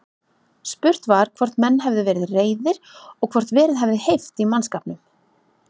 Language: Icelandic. Spurt var, hvort menn hefðu verið reiðir og hvort verið hefði heift í mannskapnum?